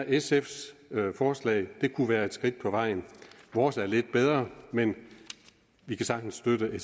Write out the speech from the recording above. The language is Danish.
sfs forslag være et skridt på vejen vores er lidt bedre men vi kan sagtens støtte